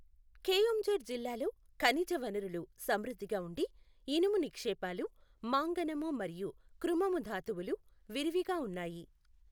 కెయోంఝర్ జిల్లాలో ఖనిజ వనరులు సమృద్ధిగా ఉండి, ఇనుము నిక్షేపాలు, మాంగనము మరియు క్రుమము ధాతువులు విరివిగా ఉన్నాయి.